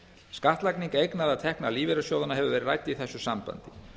skattlagning eigna eða tekna lífeyrissjóðanna hefur verið rædd í þessu sambandi